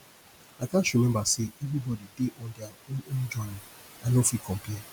i gats remember say everybody dey on their own own journey i no fit compare